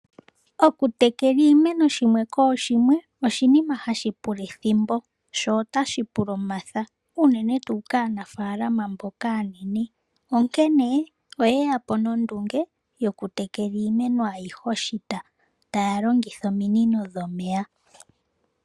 Okutekela iimeno shimwe kooshimwe oshinima hashi pula ethimbo sho otashi pula omatha unene tuu kaanafalama mboka aanene onkene oyeyapo nondunge yoku tekela iimeno ayihe oshita taya longitha ominino dhomeya.